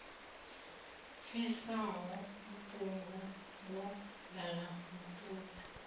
pfisaho vhuṱungu wo ḓala miṱodzi